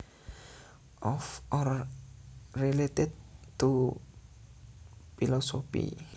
Of or related to philosophy